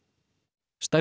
stærstu